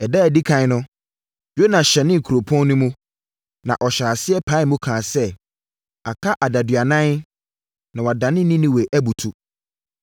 Ɛda a ɛdi ɛkan no, Yona hyɛnee kuropɔn no mu, na ɔhyɛɛ aseɛ paee mu kaa sɛ, “Aka adaduanan na wɔadane Ninewe abutu.”